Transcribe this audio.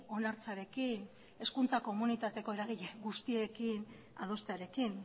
onartzearekin hezkuntza komunitateko eragile guztiekin adostearekin